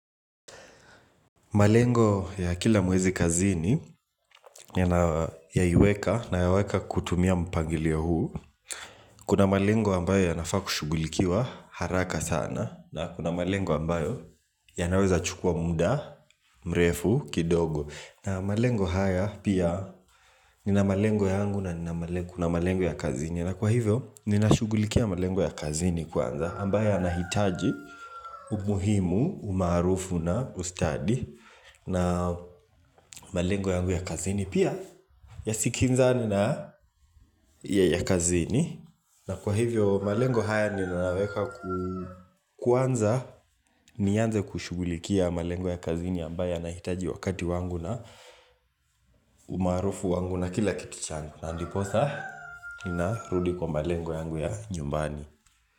Malengo ya kila mwezi kazini nayaweka kutumia mpangilio huu Kuna malengo ambayo yanafaa kushugulikiwa haraka sana na kuna malengo ambayo yanaweza chukua muda, mrefu, kidogo na malengo haya pia nina malengo yangu na kuna malengo ya kazini na kwa hivyo, ninashugulikiwa malengo ya kazini kwanza ambayo yanahitaji umuhimu, umaarufu na ustadi na malengo yangu ya kazini pia yasikinzane na yakazini na kwa hivyo malengo haya ni nayaweka kwanza nianze kushugulikia malengo ya kazini ambayo yanahitaji wakati wangu na umaarufu wangu na kila kitu changu na ndiposa ninarudi kwa malengo yangu ya nyumbani.